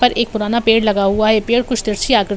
पर एक पुराना पेड़ लगा हुआ है पेड़ कुछ तीरछी आकृति --